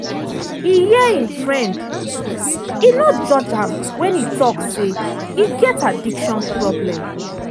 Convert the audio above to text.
e hear im friend e no judge am wen e talk say e get addiction problem.